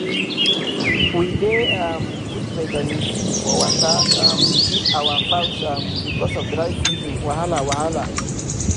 we dey um put vitamin c for water um give our fowls um because of dry season wahala wahala